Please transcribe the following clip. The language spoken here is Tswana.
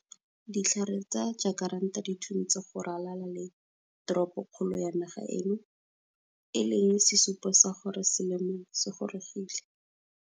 Ditlhare tsa jakaranta di thuntse go ralala le teropokgolo ya naga eno, e leng sesupo sa gore selemo se gorogile.